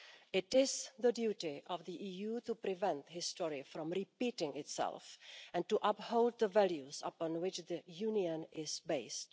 It is the duty of the EU to prevent history from repeating itself and to uphold the values upon which the Union is based.